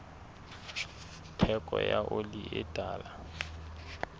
theko ya oli e tala